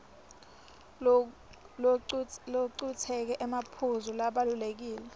locuketse emaphuzu labalulekile